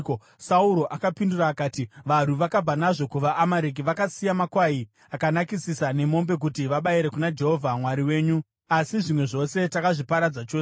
Sauro akapindura akati, “Varwi vakabva nazvo kuvaAmareki; vakasiya makwai akanakisisa nemombe kuti vabayire kuna Jehovha Mwari wenyu, asi zvimwe zvose takazviparadza chose.”